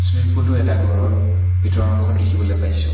Swimming pool টো এটা ঘৰৰ ভিতৰৰ অংশত দেখিবলৈ পাইছোঁ।